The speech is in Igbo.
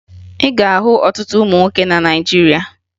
Ị ga-ahụ ọtụtụ ụmụ nwoke na Naịjirịa